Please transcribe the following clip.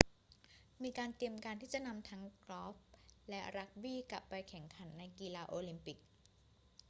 มีการเตรียมการที่จะนำทั้งกอล์ฟและรักบี้กลับไปแข่งขันในกีฬาโอลิมปิก